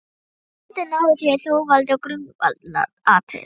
Vonandi náið þér þó valdi á grundvallaratriðum.